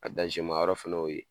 A yɔrɔ fana o ye